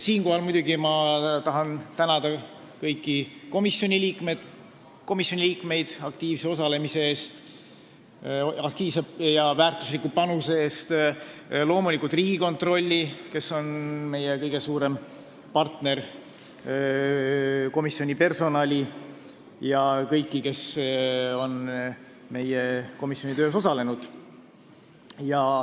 Siinkohal ma tahan tänada kõiki komisjoni liikmeid aktiivse osalemise ja väärtusliku panuse eest, loomulikult ka Riigikontrolli, kes on meie kõige suurem partner, komisjoni personali ja kõiki teisi, kes on meie komisjoni töös osalenud.